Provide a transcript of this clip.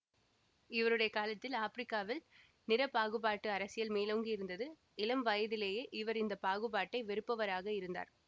இவருடைய காலத்தில் ஆப்பிரிக்காவில் நிறப்பாகுபாட்டு அரசியல் மேலோங்கியிருந்தது இளம் வயதிலேயே இவர் இந்த பாகுபாட்டை வெறுப்பவராக இருந்தார்